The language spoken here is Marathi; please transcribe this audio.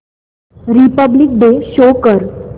रिपब्लिक डे शो कर